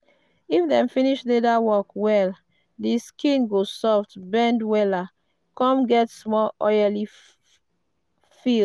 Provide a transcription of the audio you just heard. if dem finish leather work well the skin go soft bend wella come get small feel.